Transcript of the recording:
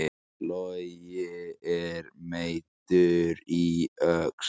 Logi er meiddur í öxl